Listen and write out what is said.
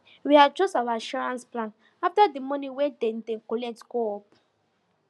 we adjust our insurance plan after the money wey dem dey collect go up